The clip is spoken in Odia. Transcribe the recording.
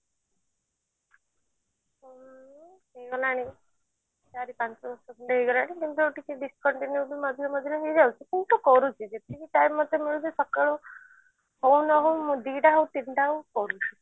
ହେଇଗଲାଣି ଚାରି ପାଞ୍ଚ ବର୍ଷ ଖଣ୍ଡେ ହେଇଗଲାଣି କିନ୍ତୁ ଟିକେ discontinue ବି ମଝିରେ ମଝିରେ ହେଇ ଯାଉଛି କିନ୍ତୁ କରୁଛି ଯେତିକି time ମତେ ମିଳୁଛି ସକାଳୁ ହଉ ନହଉ ମୋର ଦିଟା ହଉ ତିନିଟା ହଉ କରୁଛି